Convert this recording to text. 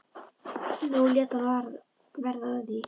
Nú lét hann verða af því.